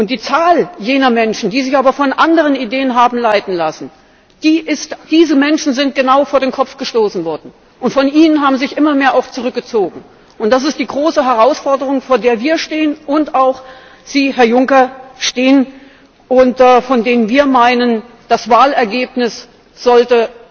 Die Zahl jener Menschen aber, die sich von anderen Ideen haben leiten lassen genau diese Menschen sind vor den Kopf gestoßen worden, und von ihnen haben sich immer mehr auch zurückgezogen das ist die große Herausforderung, vor der wir stehen und vor der auch Sie, Herr Juncker, stehen und von der wir meinen, das Wahlergebnis sollte